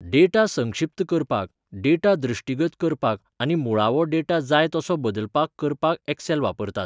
Data संक्षिप्त करपाक, data दृश्टीगत करपाक आनी मुळावो डेटा जाय तसो बदलपाक करपाक एक्सेल वापरात.